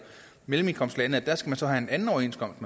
mellemindkomstlande og skal have en anden overenskomst